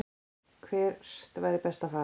Hvert væri best að fara?